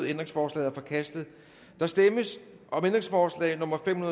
ændringsforslaget er forkastet der stemmes om ændringsforslag nummer fem